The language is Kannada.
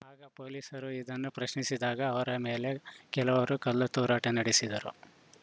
ಆಗ ಪೊಲೀಸರು ಇದನ್ನು ಪ್ರಶ್ನಿಸಿದಾಗ ಅವರ ಮೇಲೆ ಕೆಲವರು ಕಲ್ಲು ತೂರಾಟ ನಡೆಸಿದರು